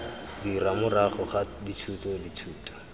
dira morago ga dithuto dithuto